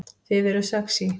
Þið eruð sexý